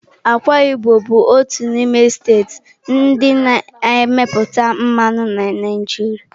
Akwa Ibom bụ otu n'ime steeti ndị na-emepụta mmanụ na Naịjirịa.